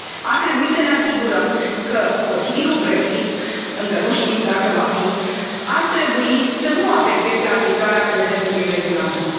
Ar trebui să ne asigurăm că posibilul Brexit, încă nu știm dacă va fi, nu afectează aplicarea prezentului regulament.